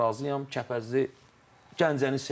Kəpəzli Gəncəni sevmişəm.